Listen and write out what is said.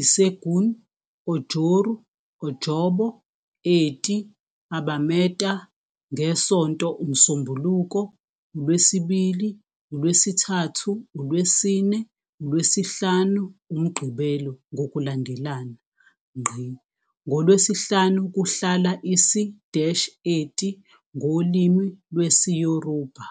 Ìṣẹ́gun, Ọjọ́rú, Ọjọ́bọ, Ẹtì, Àbámẹ́ta, ngeSonto, uMsombuluko, uLwesibili, uLwesithathu, uLwesine, uLwesihlanu, uMgqibelo ngokulandelana. NgoLwesihlanu kuhlala isi-Eti ngolimi lwesiYoruba.